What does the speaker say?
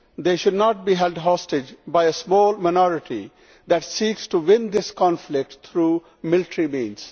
They should not be held hostage by a small minority that seeks to win this conflict by military means.